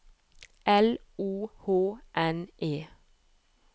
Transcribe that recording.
L O H N E